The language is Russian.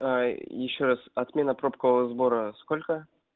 а и ещё раз отмена пробкового сбора сколько